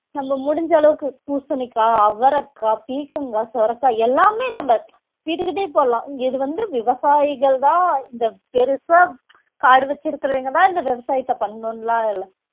நம்ம முடிஞ்ச அளவுக்கு பூசணிக்காய், அவரைக்காய், பீர்க்கங்காய், சுரைக்காய் எல்லாமே நம்ம வீட்டுக்கிட்டயே போடலாம் இது வந்து விவசாயிகள்தான் இந்த பெருசா காடு வச்சிருக்கிறவங்கதான் இந்த விவசாயத்தை பண்ணணும்லாம் இல்ல